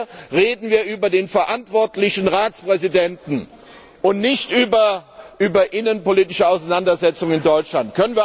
Aber hier reden wir über den verantwortlichen Ratspräsidenten und nicht über innenpolitische Auseinandersetzungen in Deutschland.